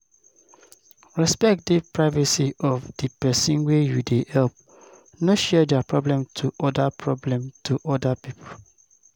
Respect di privacy of di person wey you dey help, no share their problem to oda problem to oda pipo